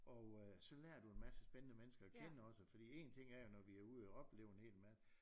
Og øh så lærer du en masse spændende mennesker at kende også fordi en ting er jo når vi er ude og opleve en hel masse